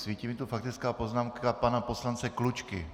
Svítí mi tu faktická poznámka pana poslance Klučky.